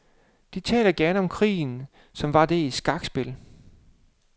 De taler gerne om krigen, som var den et skakspil.